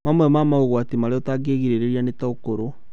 Mamwe ma mogwati marĩa ũtangĩgirĩria nĩ ta ũkũrũ